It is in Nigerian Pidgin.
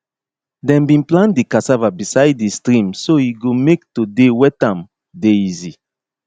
dem bin plant di cassava beside di stream so e go make to dey wet am dey easy